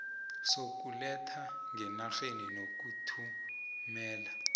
sokuletha ngenarheni nokuthumela